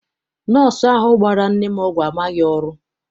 Nọsọụ ahụ gbara nne m ọgwụ amaghị ọrụ.